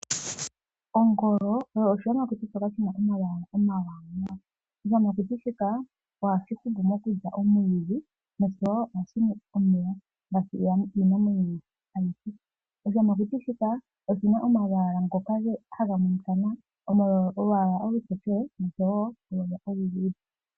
Ongolo oyo oshiyamakuti shoka shi na omalwaala omawanawa. Oshiyamakuti shika ohashi hupu mokulya omwiidhi noshowo ohashi nu omeya ngaashi iinamwenyo ayihe. Oshiyamakuti shika oshi na omalwaala ngoka haga monika nawa. Olwaala olutokele noshowo olwaala oluluudhe.